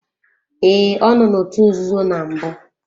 Ee, ọ nọ n'otu nzuzo na mbụ.